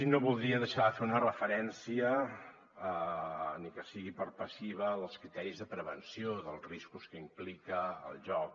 no voldria deixar de fer una referència ni que sigui per passiva als criteris de prevenció dels riscos que implica el joc